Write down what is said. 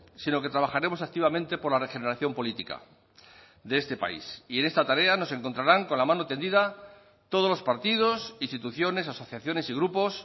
sino que trabajaremos activamente por la regeneración política de este país y en esta tarea nos encontrarán con la mano tendida todos los partidos instituciones asociaciones y grupos